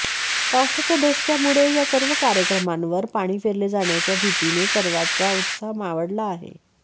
पावसाच्या धसक्यामुळे या सर्व कार्यक्रमांवर पाणी फेरले जाण्याच्या भीतीने सर्वांचा उत्साह मावळला आहे